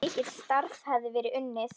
Mikið starf hefði verið unnið.